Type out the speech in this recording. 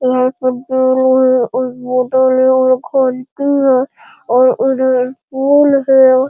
और उधर स्कूल है।